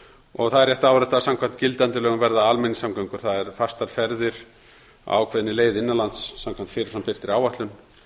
það er rétt að árétta að samkvæmt gildandi lögum verða almenningssamgöngur það er fastar ferðir á ákveðinni leið innan lands samkvæmt fyrir fram birtri áætlun